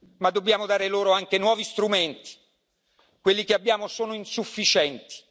Ma dobbiamo dare loro anche nuovi strumenti quelli che abbiamo sono insufficienti.